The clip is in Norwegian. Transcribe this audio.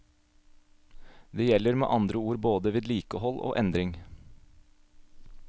Det gjelder med andre ord både vedlikehold og endring.